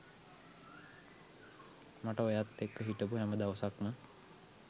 මට ඔයත් එක්ක හිටපු හැම දවසක්ම